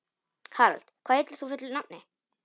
Harald, hvað heitir þú fullu nafni?